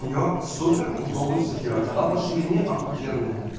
с неё супер удобно все делать она по ширине ахуенная